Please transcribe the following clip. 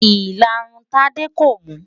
Ìlarun Tádé kò mú.